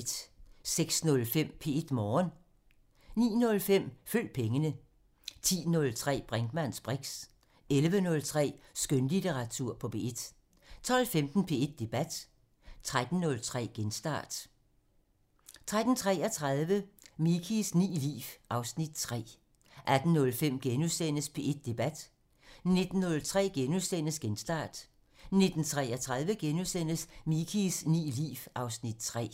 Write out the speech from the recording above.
06:05: P1 Morgen (Afs. 248) 09:05: Følg pengene 10:03: Brinkmanns briks 11:03: Skønlitteratur på P1 (Afs. 40) 12:15: P1 Debat (Afs. 151) 13:03: Genstart (Afs. 174) 13:33: Mikies ni liv (Afs. 3) 18:05: P1 Debat (Afs. 151)* 19:03: Genstart (Afs. 174)* 19:33: Mikies ni liv (Afs. 3)*